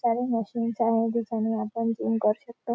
सारे मशीन्स आहेत जिच्याने आपण जिम करू शकतो.